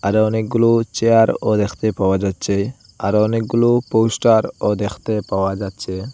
অনেকগুলো চেয়ারও দেখতে পাওয়া যাচ্ছে আরও অনেকগুলো পোস্টারও দেখতে পাওয়া যাচ্ছে।